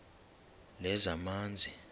lezamanzi